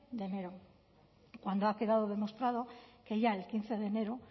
de enero cuando ha quedado demostrado que ya el quince de enero